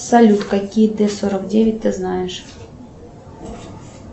салют какие т сорок девять ты знаешь